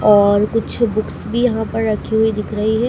और कुछ बुक्स भी यहां पर रखे हुए दिख रही है।